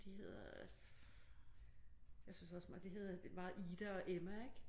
De hedder øh jeg synes også meget de hedder meget Ida og Emma ik?